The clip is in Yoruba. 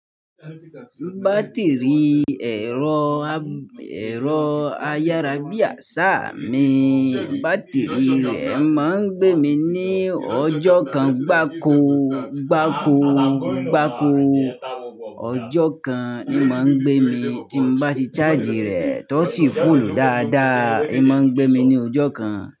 Batiri ẹ̀rọ, ẹ̀rọ ayarabiasa mi, batiri rẹ̀ máa ń gbé mi ní ọjọ́ kan gbákogbákogbáko. Ọjọ́ kan, í máa ń gbé mi tí mo bá ti charge rẹ̀, tó sì fuulù dáadáa. Í máa ń gbé mi ní ọjọ́ kan.